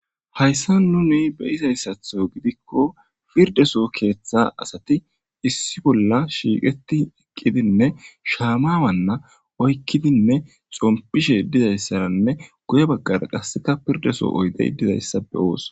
hayssa nuni be izayssatho gidikko pirdeso keeththa asati issi bolla shiiqeti eqqidinne shaamawanna oykkidinne sompishe dizayssananne guye baggara qasseka pirdeso oyde dizayssa be ooso